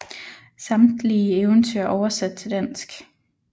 Samtlige eventyr er oversat til dansk